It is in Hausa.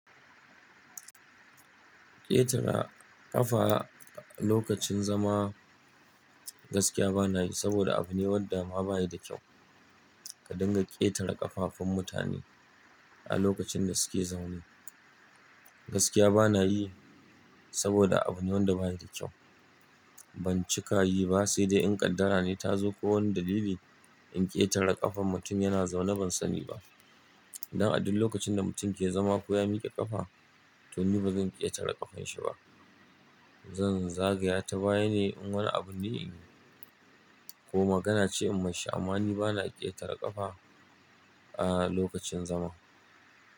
Ƙetara ƙafa a lokacin zama gaskiya bana yi saboda abu ne wanda ma ba yi da kyau. Ka dinga ƙetara ƙafafun mutane a lokacin da suke zaune gaskiya bana yi saboda abu ne wanda ba yi da kyau. Ban cika yi ba, sai dai in kaddara ne ta zo ko wani dalili in ƙetara ƙafan mutum yana zaune ban sani ba. Dan a duk lokacin da mutum ke zama ko ya miƙe ƙafa to ni bazan ƙetara ƙafan shi ba. Zan zagaya ta baya ne in wani abu ne ne ko magana ce in mashi amma ni bana ƙetara ƙafa a lokacin zama.